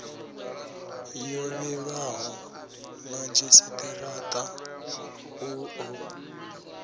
yo vhilwaho madzhisitirata u ḓo